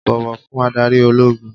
Bọ̀wọ̀ fún adarí ológun